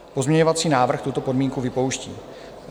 Pozměňovací návrh tuto podmínku vypouští.